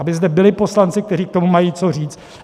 Aby zde byli poslanci, kteří k tomu mají co říct.